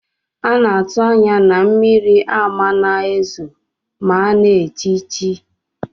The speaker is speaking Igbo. Ana atu anya na mmiri amana ezo ma ana echichi.